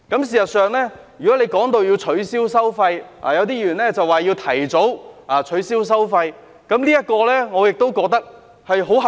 事實上，如果提到要取消收費，有些議員說要提早取消收費，這點我亦覺得很合理。